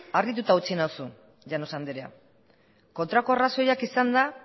harrituta utzi nauzu llanos andrea kontrako arrazoiak izan da